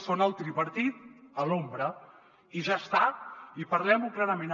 són el tripartit a l’ombra i ja està i parlem ho clarament